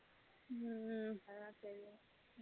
ஹம் ஹம் அதான் சரி